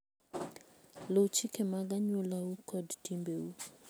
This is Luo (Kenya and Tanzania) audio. Luw chike mag anyuolau kod timbeu.